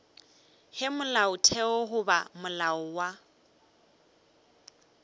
ge molaotheo goba molao wa